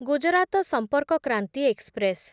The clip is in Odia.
ଗୁଜରାତ ସମ୍ପର୍କ କ୍ରାନ୍ତି ଏକ୍ସପ୍ରେସ୍